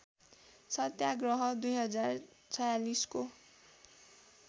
सत्याग्रह २०४६ को